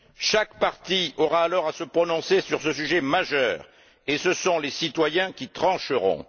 Chaque parti aura alors à se prononcer sur ce sujet majeur et ce sont les citoyens qui trancheront.